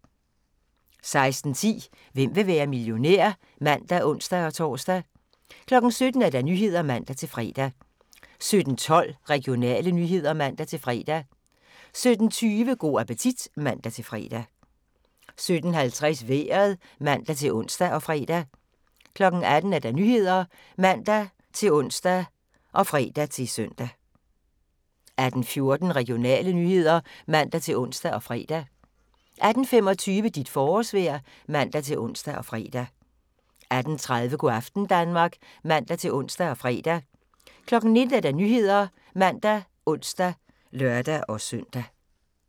16:10: Hvem vil være millionær? (man og ons-tor) 17:00: Nyhederne (man-fre) 17:12: Regionale nyheder (man-fre) 17:20: Go' appetit (man-fre) 17:50: Vejret (man-ons og fre) 18:00: Nyhederne (man-ons og fre-søn) 18:14: Regionale nyheder (man-ons og fre) 18:25: Dit forårsvejr (man-ons og fre) 18:30: Go' aften Danmark (man-ons og fre) 19:00: Nyhederne ( man, ons, lør-søn)